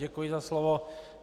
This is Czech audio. Děkuji za slovo.